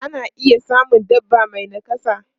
Ana iya samun dabba mai nakasa.